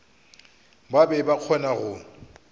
ba be ba kgona go